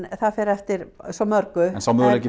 það fer eftir svo mörgu en sá möguleiki